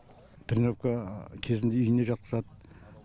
тренировка кезінде үйіне жатқызады